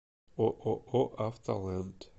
ооо автолэнд